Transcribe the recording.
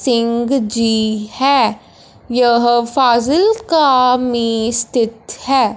सिंग जी है यह फाजिल्का में स्थित है।